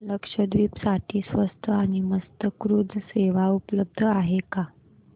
लक्षद्वीप साठी स्वस्त आणि मस्त क्रुझ सेवा उपलब्ध आहे का